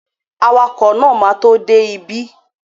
Awakọ̀ náà ma tó dé bí